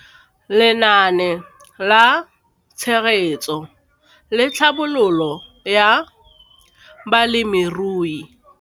Lenaane la Tshegetso le Tlhabololo ya Balemirui